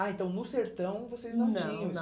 Ah, então no sertão vocês não tinham. Não, não.